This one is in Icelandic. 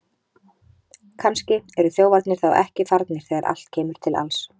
Kannski eru þjófarnir þá ekki farnir þegar allt kemur til alls!